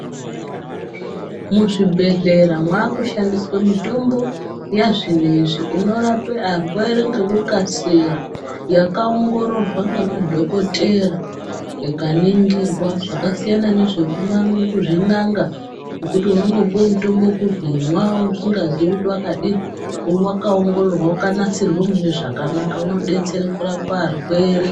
Muzvibhedhlera mwakushandiswe mitombo yazvinezvi inorape arwere ngekukasira yakaongororwa ngemadhokodheya ikaningirwa zvakasiyana nezvekuzvin'anga zvekuti unongopuwe mutombo wekuzi imwa usingaziyi kuti wakadini uyu wakaongoroorwa wakanasirwe mune zvakanaka unodetsere kurapa arwere.